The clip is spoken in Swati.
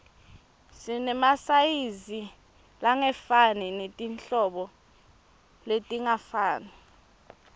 sinemasayizi langefani netinhlobo letingafani